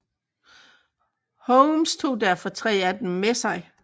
Holmes tog derfor tre af dem med sig